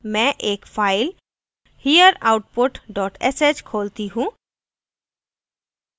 मैं एक file hereoutput dot sh खोलती हूँ